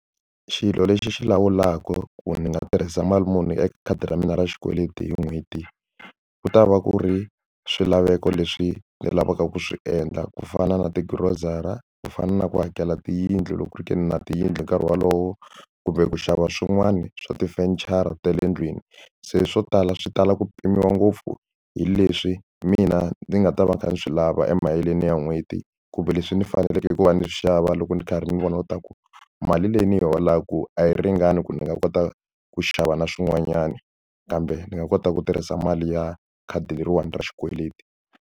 Xilo lexi xi lawulaka ku ni nga tirhisa mali muni eka khadi ra mina ra xikweleti hi n'hweti ku ta va ku ri swilaveko leswi ni lavaka ku swi endla ku fana na ti-grocery ku fana na ku hakela tiyindlu loko ri ke ni na tiyindlu hi nkarhi wolowo kumbe ku xava swin'wana swa tifenichara ta le ndlwini se swo tala swi tala ku pimiwa ngopfu hi leswi mina ndzi nga ta va kha ndzi swi lava emaheleni ya n'hweti kumbe leswi ni faneleke ku va ni xava loko ni karhi ndzi languta ku mali leyi ni yi holaka a yi ringani ku ni nga kota ku xava na swin'wanyani kambe ndzi nga kota ku tirhisa mali ya khadi leriwani ra xikweleti.